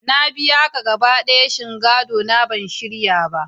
Na biya ka gaba ɗaya, shin gadona bai shirya ba?